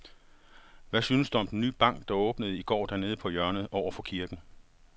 Hvad synes du om den nye bank, der åbnede i går dernede på hjørnet over for kirken?